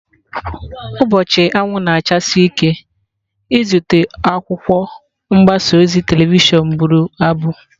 Ụbọchị anwụ na-achasi ike ịzụta akwụkwọ"" mgbasa ozi telivishọn bụrụ abụ."